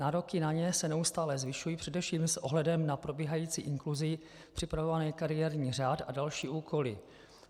Nároky na ně se neustále zvyšují především s ohledem na probíhající inkluzi, připravovaný kariérní řád a další úkoly.